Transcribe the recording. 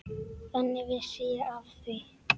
Þannig vissi ég af því.